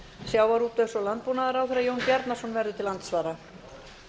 sjávarútvegs og landbúnaðarráðherra jón bjarnason verður til andsvara